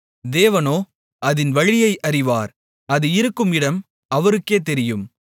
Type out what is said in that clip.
தேவனோ அதின் வழியை அறிவார் அது இருக்கும் இடம் அவருக்கே தெரியும்